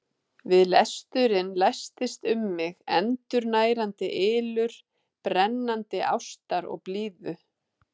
Við lesturinn læstist um mig endurnærandi ylur brennandi ástar og blíðu.